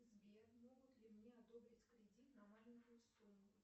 сбер могут ли мне одобрить кредит на маленькую сумму